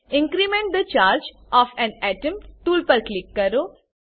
increment the charge of an atom tool પર click કરો